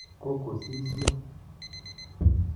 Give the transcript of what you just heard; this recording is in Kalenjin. kokosisio